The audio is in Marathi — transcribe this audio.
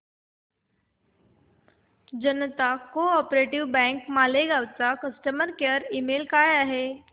जनता को ऑप बँक मालेगाव चा कस्टमर केअर ईमेल काय आहे